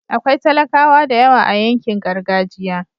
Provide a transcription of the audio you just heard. akwai talakawa da yawa a yankin gargajiya